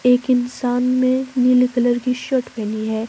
एक इंसान में नीले कलर की शर्ट पहनी है।